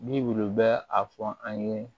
Bi w'u bɛ a fɔ an ye